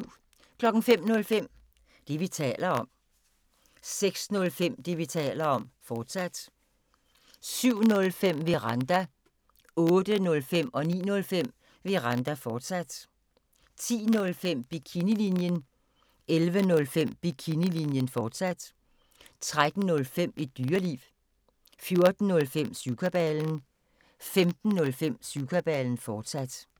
05:05: Det, vi taler om 06:05: Det, vi taler om, fortsat 07:05: Veranda 08:05: Veranda, fortsat 09:05: Veranda, fortsat 10:05: Bikinilinjen 11:05: Bikinilinjen, fortsat 13:05: Et Dyreliv 14:05: Syvkabalen 15:05: Syvkabalen, fortsat